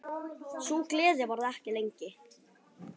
Sú gleði varði ekki lengi.